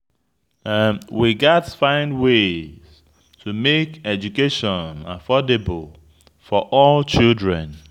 We gats find ways to make education affordable for all children.